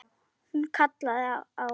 Hún kallaði á